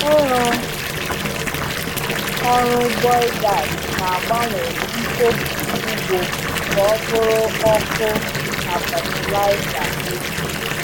Ịrụ ọrụ biogas na-agbanwe mkpofu ugbo ka ọ bụrụ ọkụ na fatịlaịza eke.